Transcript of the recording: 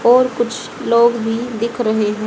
और कुछ लोग भी दिख रहे हैं।